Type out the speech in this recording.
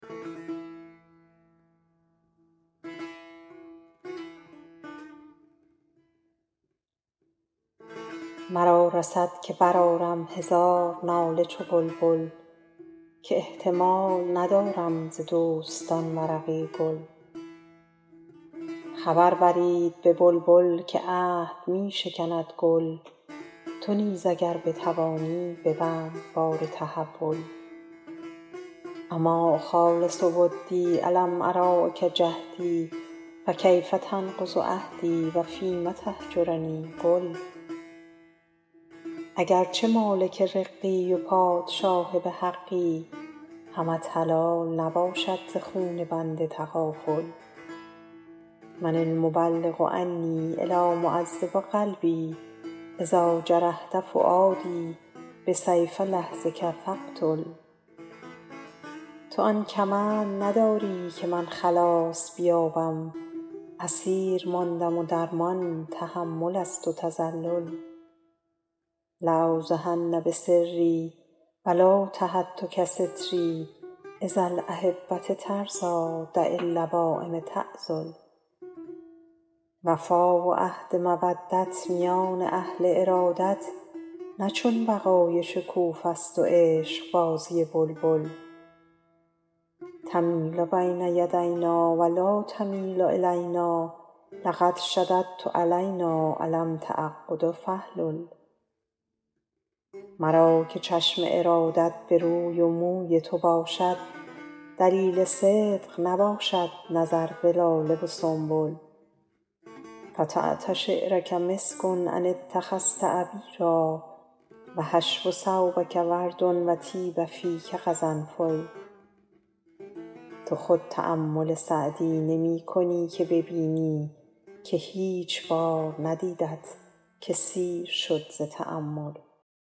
مرا رسد که برآرم هزار ناله چو بلبل که احتمال ندارم ز دوستان ورقی گل خبر برید به بلبل که عهد می شکند گل تو نیز اگر بتوانی ببند بار تحول أما أخالص ودی ألم أراعک جهدی فکیف تنقض عهدی و فیم تهجرنی قل اگر چه مالک رقی و پادشاه به حقی همت حلال نباشد ز خون بنده تغافل من المبلغ عنی إلیٰ معذب قلبی إذا جرحت فؤادی بسیف لحظک فاقتل تو آن کمند نداری که من خلاص بیابم اسیر ماندم و درمان تحمل است و تذلل لأوضحن بسری و لو تهتک ستری إذا الأحبة ترضیٰ دع اللوایم تعذل وفا و عهد مودت میان اهل ارادت نه چون بقای شکوفه ست و عشقبازی بلبل تمیل بین یدینا و لا تمیل إلینا لقد شددت علینا إلام تعقد فاحلل مرا که چشم ارادت به روی و موی تو باشد دلیل صدق نباشد نظر به لاله و سنبل فتات شعرک مسک إن اتخذت عبیرا و حشو ثوبک ورد و طیب فیک قرنفل تو خود تأمل سعدی نمی کنی که ببینی که هیچ بار ندیدت که سیر شد ز تأمل